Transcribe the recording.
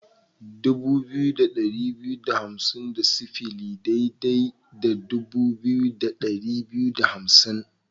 Dubu biyu da ɗari biyu da hamsin da sifili daidai da dubu biyu da ɗari biyu da hamsin.